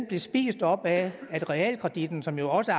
blev spist op af at realkreditten som jo også